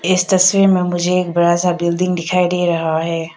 इस तस्वीर में मुझे एक बड़ा सा बिल्डिंग दिखाई दे रहा है।